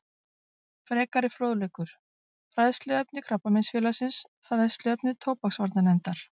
Frekari fróðleikur: Fræðsluefni Krabbameinsfélagsins Fræðsluefni tóbaksvarnarnefndar